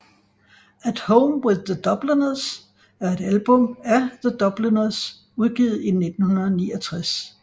At Home with The Dubliners er et album af The Dubliners udgivet i 1969